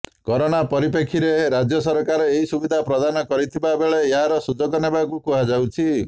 କରେନା ପରିପ୍ରେକ୍ଷୀରେ ରାଜ୍ୟ ସରକାର ଏହି ସୁବିଧା ପ୍ରଦାନ କରିଥିବାବେଳେ ଏହାର ସୁଯୋଗ ନେବାକୁ କୁହାଯାଇଛି